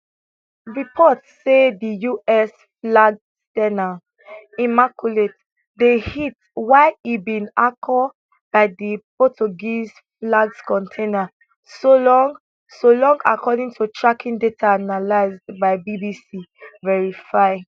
reports say di usflagged s ten a immaculate dey hit while e bin anchor by di portugueseflagged container solong solong according to tracking data analysed by bbc verify